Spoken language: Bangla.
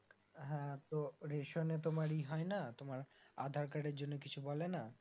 হ্যাঁ তো রেশনে তোমার ই হয়না তোমার আধার কার্ডের জন্য কিছু বলেন